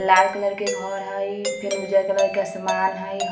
लाल colour का घर हई फिर उजर कलर के समान हई ।